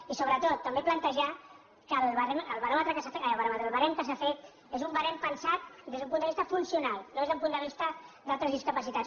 i sobretot també plantejar que el barem que s’ha fet és un barem pensat des d’un punt de vista funcional no des d’un punt de vista d’altres discapacitats